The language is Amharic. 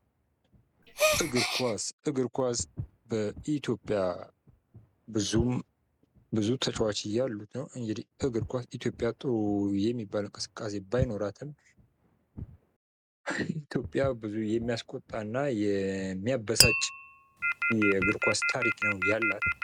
እግር ኳስ ። እግር ኳስ በኢትዮጵያ ብዙ ተጫዎች ያሉት ነው ። እንግዲህ እግር ኳስ ኢትዮጵያ ጥሩ የሚባል እንቅስቃሴ ባይኖራትም ኢትዮጵያ ብዙ ሚያስቆጣ እና ሚያበሳጭ የእግር ኳስ ታሪክ ነው ያላት ።